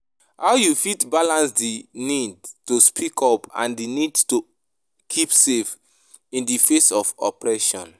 How you fit balance di need to speak up and di need to keep safe in di face of oppression?